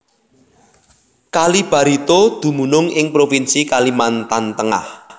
Kali Barito dumunung ing provinsi Kalimantan Tengah